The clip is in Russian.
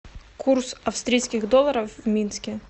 курс австрийских долларов в минске